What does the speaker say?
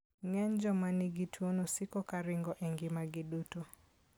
Ng'eny joma nigi tuwono siko ka ringo e ngimagi duto.